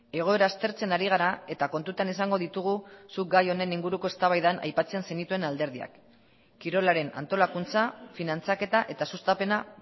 egoera aztertzen ari gara eta kontutan izango ditugu zuk gai honen inguruko eztabaidan aipatzen zenituen alderdiak kirolaren antolakuntza finantzaketa eta sustapena